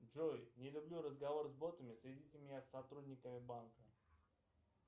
джой не люблю разговор с ботами соедините меня с сотрудниками банка